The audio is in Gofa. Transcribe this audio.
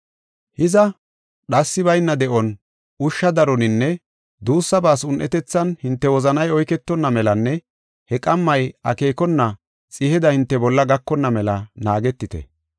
“Hiza, dhassi bayna de7on, ushsha daroninne duussabaas un7etethan hinte wozanay oyketonna melanne he qammay akeekona xiheda hinte bolla gakonna mela naagetite.